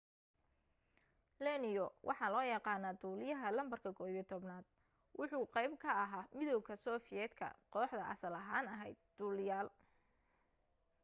leono waxaa loo yaqaana duliyaha lambarka 11 wuxuu qeyb ka ahaa midowga soviet ka kooxda asaal ahan aheyd duliyaal